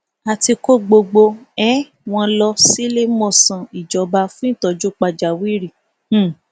a ti kó gbogbo um wọn lọ síléemọsán ìjọba fún ìtọjú pàjáwìrì um